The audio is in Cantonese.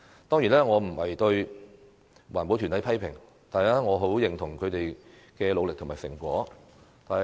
當然，我不是批評環保團體，我很認同他們的努力和成果。